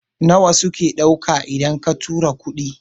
nawa suke dauka idan ka tura kuɗi?